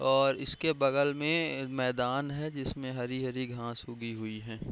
और इसके बगल में मैदान है जिसमे हरी-हरी घास उगी हुई है।